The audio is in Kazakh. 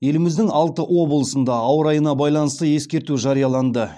еліміздің алты облысында ауа райына байланысты ескерту жарияланды